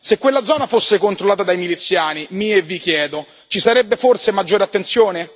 Se quella zona fosse controllata dai miliziani, mi e vi chiedo, ci sarebbe forse maggiore attenzione?